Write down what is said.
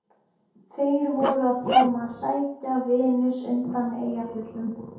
Þeir voru að koma að sækja Venus undan Eyjafjöllum.